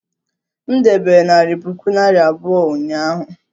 M debere narị puku naira abụọ ụnyaahụ